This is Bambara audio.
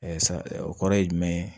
sa o kɔrɔ ye jumɛn ye